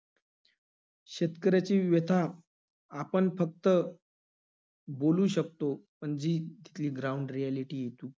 शेतकऱ्याची व्यथा आपण फक्त बोलू शकतो, पण जी ती~ ground reality इथू~